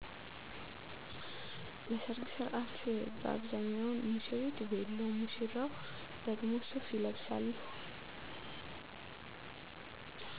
ለሰርግ ሥነሥርዓት በአብዛኛው ሙሽሪት ቬሎ ሙሽራው ደግሞ ሱፍ ይለብሳሉ